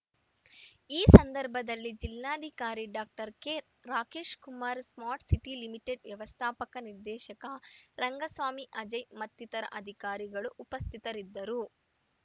ಈ ಸಂದರ್ಭದಲ್ಲಿ ಜಿಲ್ಲಾಧಿಕಾರಿ doctor K Rakesh Kumar smart city limited ವ್ಯವಸ್ಥಾಪಕ ನಿರ್ದೇಶಕ ರಂಗಸ್ವಾಮಿ ಅಜಯ್ ಮತ್ತಿತರ ಅಧಿಕಾರಿಗಳು ಉಪಸ್ಥಿತರಿದ್ದರು